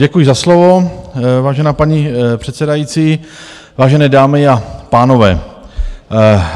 Děkuji za slovo, vážená paní předsedající, vážené dámy a pánové.